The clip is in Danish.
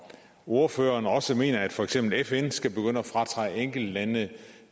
ordføreren også mener at for eksempel fn skal begynde at fratage enkelte lande